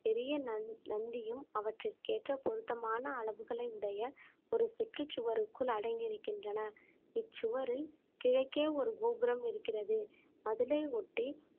பெரிய நந்~ நந்தியும் அவற்றிற்கேற்ற பொருத்தமான அளவுகளை உடைய ஒரு சுற்றுச்சுவருக்குள் அடங்கி இருக்கின்றன இச்சுவரில் கிழக்கே ஒரு கோபுரம் இருக்கிறது அதனை ஒட்டி